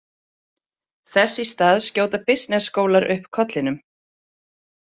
Þess í stað skjóta bisnessskólar upp kollinum.